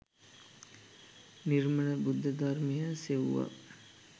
නිර්මල බුද්ධ ධර්මය සෙව්වා.